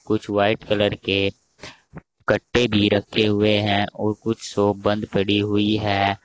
कुछ white colour के कट्टे भी रखे हुए हैं और कुछ शॉप बंद पड़ी हुई है।